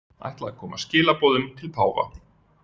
Ætla að koma skilaboðum til páfa